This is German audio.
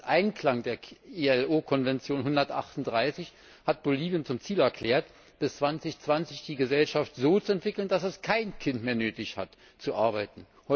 Im Einklang mit der ILO Konvention 138 hat Bolivien zum Ziel erklärt, bis 2020 die Gesellschaft so zu entwickeln, dass es kein Kind mehr nötig hat zu arbeiten.